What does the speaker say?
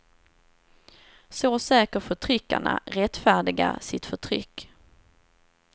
Så söker förtryckarna rättfärdiga sitt förtryck.